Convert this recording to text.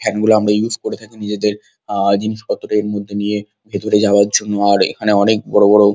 fan গুলো আমরা use করে থাকি নিজেদের আঃ জিনিসপত্র দের মধ্যে নিয়ে ভেতরে যাওয়ার জন্য আর এখানে অনেক বড় বড়--